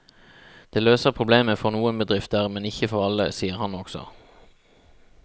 Det løser problemet for noen bedrifter, men ikke for alle, sier han også.